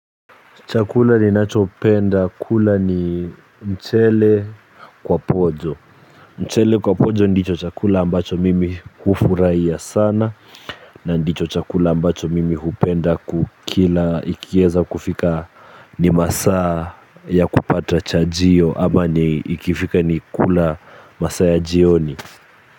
Chakula ninachopenda, kula ni mchele kwa pojo. Mchele kwa pojo ndicho chakula ambacho mimi hufurahia sana, na ndicho chakula ambacho mimi hupenda kukila ikieza kufika ni masaa ya kupata chajio, ama ni ikifika ni kula masaa ya jioni.